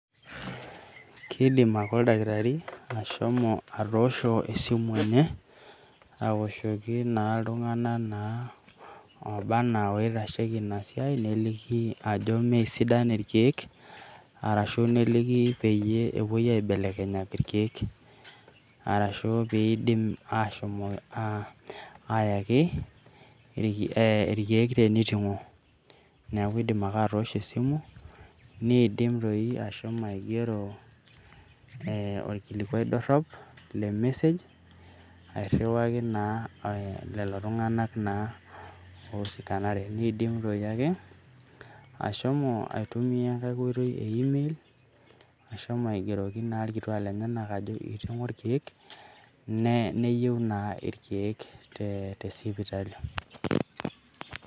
Kiidim ake oldakitari ashomo atoosho esimu enye awoshoki iltung'anak naa laaba enaa loitasheiki ena siai neliki ajo mee sidan irkiek arashu neliki peepoe aibelekenyaki irkiek arashu peepoe ayaki irk ee irkiek teneitimg'o neeku iiidim ake atoshoo esimu niidim sii aigero ee orkilikuai dorrop le message aigeroki iltung'anak oiusikanare neidim toi ake ashomo aitumiya enkae oitoi email ashomo aigeroki irkituak lenyenak ajoki eiting'o irkiek neyieu naa irkiek tesipitali.